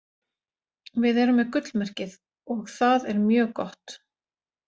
Við erum með gullmerkið. og það er mjög gott.